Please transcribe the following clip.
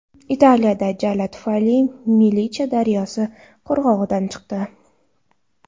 Italiyada jala tufayli Milicha daryosi qirg‘og‘idan chiqdi.